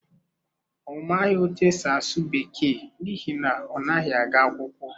Ọ maghị otú e si asụ Bekee n’ihi na ọ naghị aga akwụkwọ.